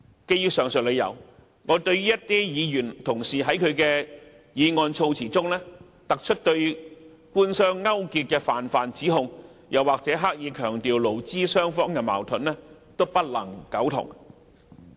基於上述理由，我對於一些議員同事在議案措辭中突出對官商勾結的泛泛指控，或是刻意強調勞資雙方的矛盾，均不能苟同。